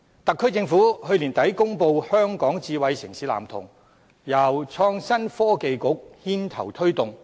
特區政府去年年底公布《香港智慧城市藍圖》，由創新及科技局牽頭推動。